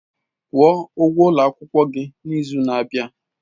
Kwuo ụgwọ ụlọ akwụkwọ gị n'izu na-abịa!